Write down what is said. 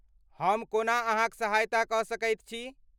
हम कोना अहाँक सहायता कऽ सकैत छी?